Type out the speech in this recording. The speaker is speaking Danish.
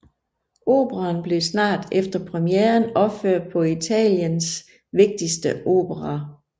Operaen blev snart efter premieren opført på Italiens vigtigste operaer